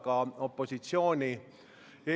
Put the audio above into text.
Me saame minna muudatusettepanekute läbivaatamise juurde.